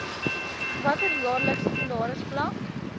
watter jaarlikse salarisvlak